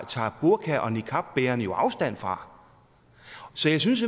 tager burka og niqabbærerne jo afstand fra så jeg synes